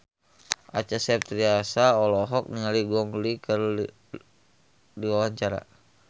Acha Septriasa olohok ningali Gong Li keur diwawancara